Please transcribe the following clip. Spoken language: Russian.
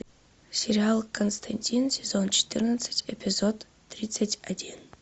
сериал константин сезон четырнадцать эпизод тридцать один